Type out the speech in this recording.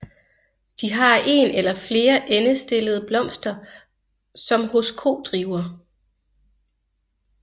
De har én eller flere endestillede blomster som hos Kodriver